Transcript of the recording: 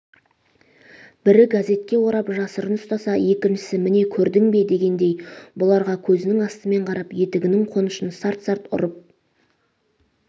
бір газетке орап жасырын ұстаса екіншісі міне көрдің бе дегендей бұларға көзінің астымен қарап етігінің қонышын сарт-сарт ұрып